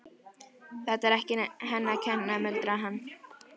Þetta var ekki henni að kenna, muldraði hann.